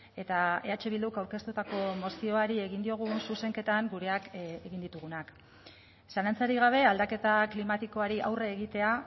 eta eh bilduk aurkeztutako mozioari egin diogun zuzenketan gureak egin ditugunak zalantzarik gabe aldaketa klimatikoari aurre egitea